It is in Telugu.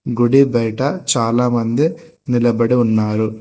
గుడి బయట చాలామంది నిలబడి ఉన్నారు.